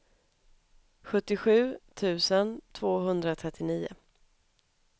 sjuttiosju tusen tvåhundratrettionio